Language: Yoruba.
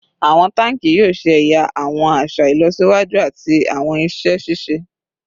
Awọn tanki yoo ṣe ẹya awọn aṣa ilọsiwaju ati awọn iṣẹ ṣiṣe